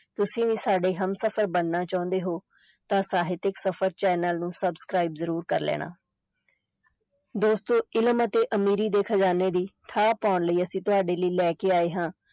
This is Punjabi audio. ਤੁਸੀਂ ਵੀ ਸਾਡੇ ਹਮਸਫ਼ਰ ਬਣਨਾ ਚਾਹੁੰਦੇ ਹੋ ਤਾਂ ਸਾਹਿਤਕ ਸਫ਼ਰ ਚੈਨਲ ਨੂੰ subscribe ਜ਼ਰੂਰ ਕਰ ਲੈਣਾ ਦੋਸਤੋ ਇਲਮ ਅਤੇ ਅਮੀਰੀ ਦੇ ਖ਼ਜਾਨੇ ਦੀ ਥਾਹ ਪਾਉਣ ਲਈ ਅਸੀਂ ਤੁਹਾਡੇ ਲਈ ਲੈ ਕੇ ਆਏ ਹਾਂ